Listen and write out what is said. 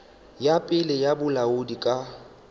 ya pele ya bolaodi ka